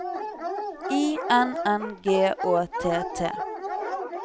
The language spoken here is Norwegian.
I N N G Å T T